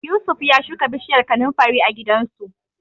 Yusuf ya shuka bishiyar kanunfari a gidansu.